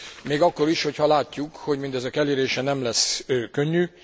Még akkor is, hogyha látjuk, hogy mindezek elérése nem lesz könnyű.